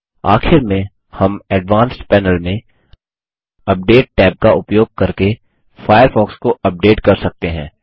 आखिर में हम एडवांस्ड पैनल में अपडेट टैब का उपयोग करके फायरफॉक्स को अपडेट कर सकते हैं